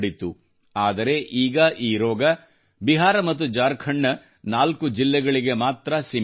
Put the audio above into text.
ಆದರೆ ಈಗ ಈ ರೋಗವು ಬಿಹಾರ ಮತ್ತು ಜಾರ್ಖಂಡ್ನ 4 ಜಿಲ್ಲೆಗಳಿಗೆ ಮಾತ್ರ ಸೀಮಿತವಾಗಿದೆ